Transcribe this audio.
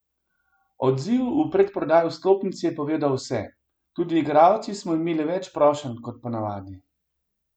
Odziv v predprodaji vstopnic je povedal vse, tudi igralci smo imeli več prošenj kot ponavadi.